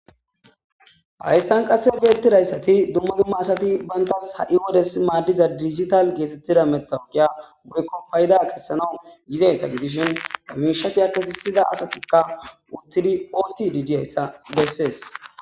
hayssan qasse beettidayssati dumma dumma asati bayntas ha'i wodes maaddiza digital geesettida metaoqiya woykko fayida kessanawu yizayssa gidishin hamishati akkesisida asatikka uttidi ooththi diyayssa bessees